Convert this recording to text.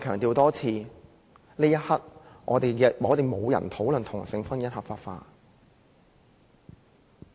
我再一次強調，此刻沒有人要討論同性婚姻合法化。